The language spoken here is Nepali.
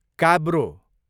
काब्रो